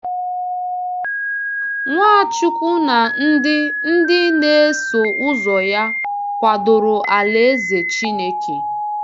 Nwachukwu na ndị ndị na-eso ụzọ ya kwadoro alaeze Chineke.